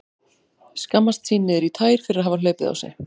Skammast sín niður í tær fyrir að hafa hlaupið á sig.